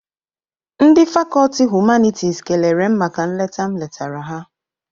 Ndị fakọti Humanitis kelere m maka nleta m letara ha.